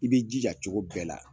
I b'i jija cogo bɛɛ la